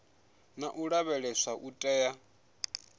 na u lavheleswa u tea